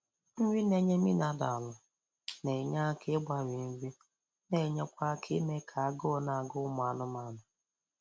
Nri na-enye minaralụ na-enye aka ịgbari nri na-enyekwa aka ime ka agụụ na-agụ ụmụ anụmanụ